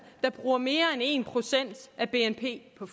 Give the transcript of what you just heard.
der bruger mere end 1 af bnp på